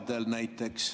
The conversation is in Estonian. Aitäh!